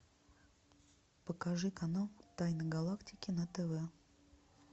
покажи канал тайны галактики на тв